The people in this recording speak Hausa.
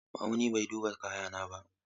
Ma'auni bai duba kayana ba.